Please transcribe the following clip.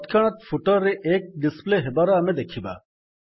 ତତକ୍ଷଣାତ୍ footer ରେ 1 display ହେବାର ଆମେ ଦେଖିବା